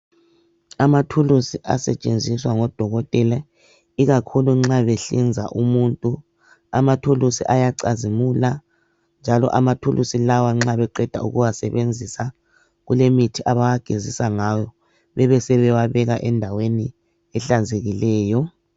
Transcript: Amathulusi asetshenziswa ngodokotela ikakhulu nxa behlinza umuntu amathulusi ayacazimula njalo amathulusi lawa nxa beqeda ukuwasebenzisa kulemithi abawagezisa ngayo bebesebe wabeka endaweni ehlanzekileyo.